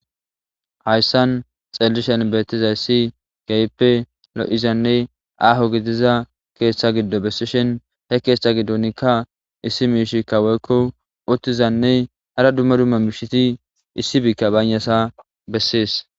Hayssan xallishen beettizay ssi gayppe lo,izanne aho gitiza keeththa giddo bessishin he keeththa giddonikka issi miishikka woykko uttizanne ara dumma dumma miishiti issi bikka baynasa bessees.